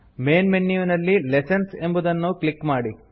main ಮೆನ್ಯುವಿನಲ್ಲಿ lessons ಎಂಬುದನ್ನು click ಮಾಡಿ